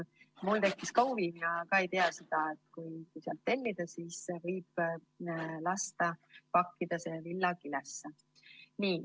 Mul tekkis ka huvi, ma ei teadnud enne, et kui sealt tellida, siis võib lasta pakkida kauba villakilesse.